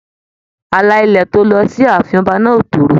Àlà ilẹ̀ tó lọ sí ààfin ọba náà o toro.